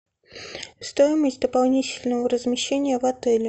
стоимость дополнительного размещения в отеле